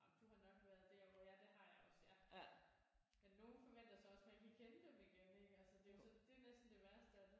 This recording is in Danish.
Jamen du har nok været der hvor ja det har jeg også ja men nogen forventer så også man kan kende dem igen ik altså det er jo så det er næsten det værste af det